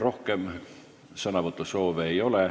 Rohkem sõnavõtusoove ei ole.